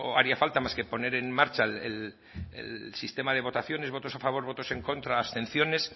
haría falta más que poner en marcha el sistema de votaciones votos a favor votos en contra abstenciones